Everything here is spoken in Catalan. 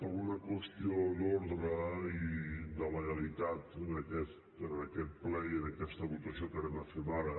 per una qüestió d’ordre i de legalitat en aquest ple i en aquesta votació que farem ara